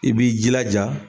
I b'i jilaja